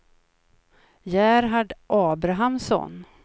Gerhard Abrahamsson